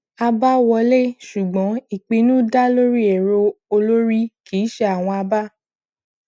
àbá wọlé ṣùgbọn ìpinnu dá lórí èrò olórí kì í ṣe àwọn abá